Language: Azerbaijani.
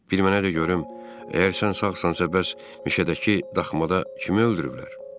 Bir mənə də görüm, əgər sən sağsansan, bəs mişədəki daxmada kimi öldürüblər?